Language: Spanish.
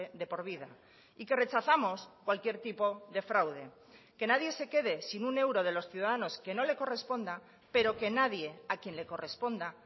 de por vida y que rechazamos cualquier tipo de fraude que nadie se quede sin un euro de los ciudadanos que no le corresponda pero que nadie a quien le corresponda